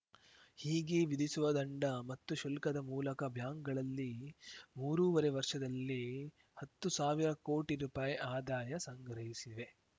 ಹೀಗೆ ವಿಧಿಸುವ ದಂಡ ಮತ್ತು ಶುಲ್ಕದ ಮೂಲಕ ಬ್ಯಾಂಕ್‌ಗಳಲ್ಲಿ ಮೂರೂವರೆ ವರ್ಷದಲ್ಲಿ ಹತ್ತು ಸಾವಿರ ಕೋಟಿ ರುಪಾಯಿ ಆದಾಯ ಸಂಗ್ರಹಿಸಿವೆ